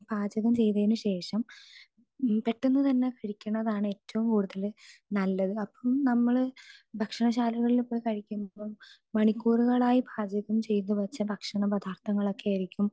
speaker 2 പാചകം ചെയ്തതിന് ശേഷം പെട്ടെന്ന് തന്നെ കഴിക്കുന്നതാണ് ഏറ്റവും കൂടുതല് നല്ലത് അപ്പൊ നമ്മള് ഭക്ഷണശാലകളിൽ പോയി കഴിക്കുമ്പോ മണിക്കൂറുകളായി പാചകം ചെയ്തുവെച്ച ഭക്ഷണപദാര്ഥങ്ങളൊക്കെ ആയിരിക്കും